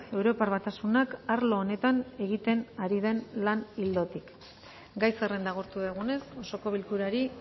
europar batasunak arlo honetan egiten ari den lan ildotik gai zerrenda agortu dugunez osoko bilkurari